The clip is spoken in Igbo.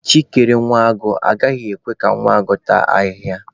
Chi kere nwa agụ, agaghị ekwe ka nwa agụ taa ahịhịa.